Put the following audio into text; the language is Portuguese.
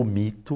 O mito.